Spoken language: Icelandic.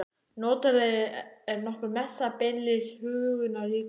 Notalegri en nokkur messa, beinlínis huggunarríkar.